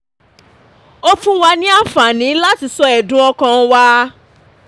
ó fún wa ní anfani láti sọ ẹ̀dùn ọkàn wa